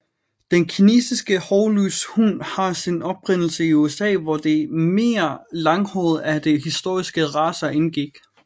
Den kinesiske hårløse hund har sin oprindelse i USA hvor de mere langhårede af de historiske racer indgik